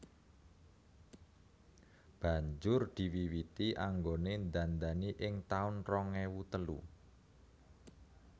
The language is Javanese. Banjur diwiwiti anggone ndandani ing taun rong ewu telu